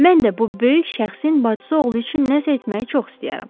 Mən də bu böyük şəxsin bacısı oğlu üçün nəsə etməyi çox istəyərəm.